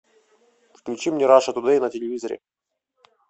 включи мне раша тудей на телевизоре